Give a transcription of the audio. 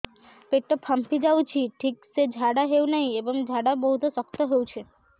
ପେଟ ଫାମ୍ପି ଯାଉଛି ଠିକ ସେ ଝାଡା ହେଉନାହିଁ ଏବଂ ଝାଡା ବହୁତ ଶକ୍ତ ହେଉଛି